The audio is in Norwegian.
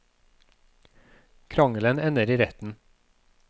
Krangelen ender i retten.